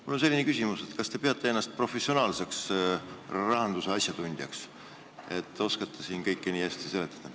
Mul on selline küsimus: kas te peate ennast nii professionaalseks rahanduse asjatundjaks, et oskate siin kõike hästi seletada?